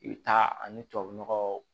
I bɛ taa ani tubabu nɔgɔ